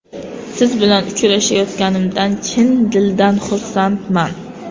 Siz bilan uchrashayotganimdan chin dildan xursandman.